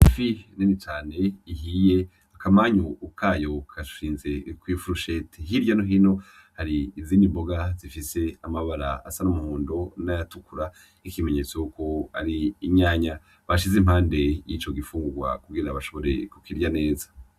Ifi nini cane ihiye, akamanyu kayo karashinze kw'ifurusheti. Hirya no hino hari izindi mboga zifise amabara asa n'umuhondo n'ayatukura nk'ikimenyetso yuko ari inyanya bashize impande y'ico gifungurwa kugira bashobore kukirya neza.